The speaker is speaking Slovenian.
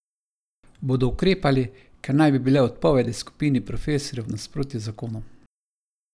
Bodo ukrepali, ker naj bi bile odpovedi skupini profesorjev v nasprotju z zakonom?